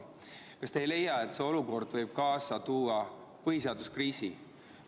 Kas te ei leia, et see olukord võib kaasa tuua põhiseaduskriisi?